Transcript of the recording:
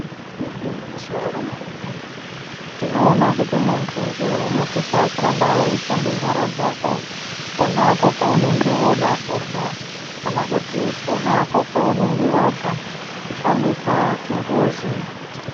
Igwinyiso remene-mene, tinoona kuti muntu njee unosisa kuramba weishambe nyara dzako ponapo paunenge woda kurya, kana kuti ponapo paunenge wabva kushandisa chimbuzi.